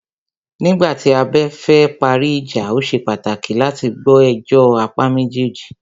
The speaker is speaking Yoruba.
Nígbà tí a bá fẹ parí ìjà,o ṣe pàtàkì láti gbọ́ ẹjọ́ apá méjèèjì.